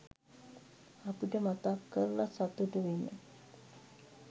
අපිට මතක් කරල සතුටු වෙන